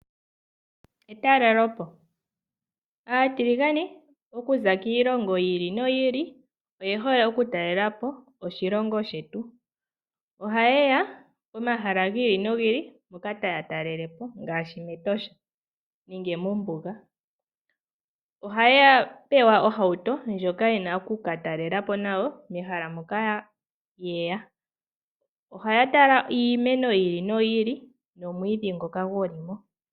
Etalelopo, aatiligane oku za kiilongo yi ili noyi ili, oye hole oku talela po oshilongo shetu . Oha ye ya pomahala gi ili nogi ili, mpoka taa talele po, ngaashi mEtosha nenge mombuga. Oha ya pewa ohauto ndjoka ye na oku ka talela po nayo mehala moka ye ya. Oha ya tala iimeno yi ili noyi ili, nomwiidhi ngoka gu li mo.